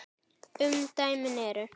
Umdæmin eru